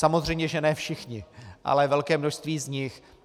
Samozřejmě že ne všichni, ale velké množství z nich.